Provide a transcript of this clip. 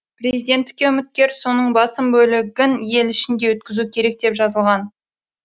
президенттікке үміткер соның басым бөлігін ел ішінде өткізуі керек деп жазылған